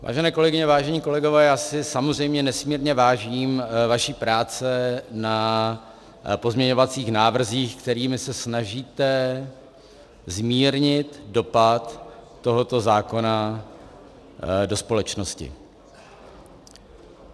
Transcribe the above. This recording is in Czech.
Vážené kolegyně, vážení kolegové, já si samozřejmě nesmírně vážím vaší práce na pozměňovacích návrzích, kterými se snažíte zmírnit dopad tohoto zákona do společnosti.